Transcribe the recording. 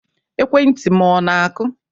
Ekwentị m ọ na-akụ?